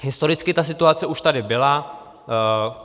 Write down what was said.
Historicky ta situace už tady byla.